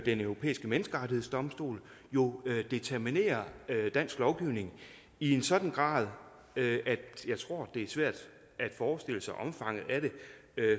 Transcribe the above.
den europæiske menneskerettighedsdomstol jo determinerer dansk lovgivning i en sådan grad at jeg tror det er svært at forestille sig omfanget af det